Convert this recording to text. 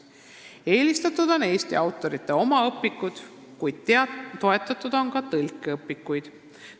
Eelistatud on Eesti autorite oma õpikud, kuid toetatud on ka tõlkeõpikuid.